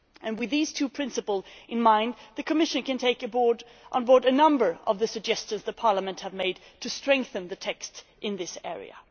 With these two principles in mind, the Commission can take on board a number of the suggestions Parliament has made to strengthen the text in this area.